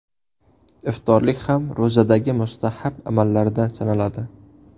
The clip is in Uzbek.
Iftorlik ham ro‘zadagi mustahab amallardan sanaladi.